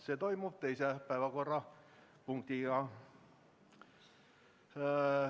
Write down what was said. See toimub teise päevakorrapunktina.